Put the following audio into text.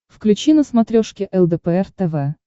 включи на смотрешке лдпр тв